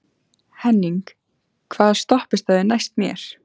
Henning, hvaða stoppistöð er næst mér?